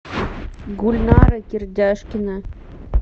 гульнара кирдяшкина